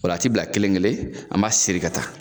O la, a ti bila kelenkelen, an b'a sɛri ka taa